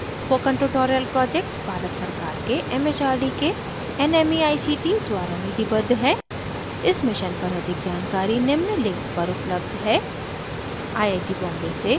spoken tutorial project Bharat सरकार के mhrd के nmeict द्वारा निधिबद्ध है इस mission पर अधिक जानकारी निम्न link पर उपलब्ध है